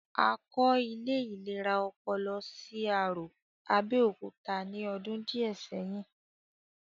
A kọ́ ilé ìlera ọpọlọ sí Arò, Abẹ́òkúta ní ọdún díẹ̀ sẹ́yìn